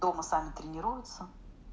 дома сами тренируются